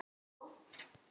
Hvert fórstu, elskan mín?